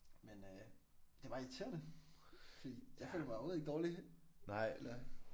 Men øh det bare irriterende fordi jeg føler mig overhovedet ikke dårlig eller